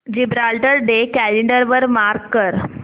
Gibraltar day calendar वर mark कर